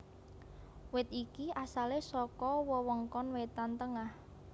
Wit iki asalé saka wewengkon wétan tengah